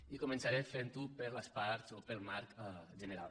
i començaré fent ho per les parts o pel marc general